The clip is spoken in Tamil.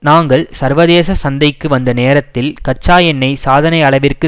நாங்கள் சர்வதேச சந்தைக்கு வந்த நேரத்தில் கச்சா எண்ணெய் சாதனை அளவிற்கு